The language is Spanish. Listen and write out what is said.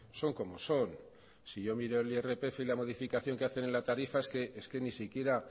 son como son si yo miro el irpf y la modificación que hacen en la tarifa es que ni siquiera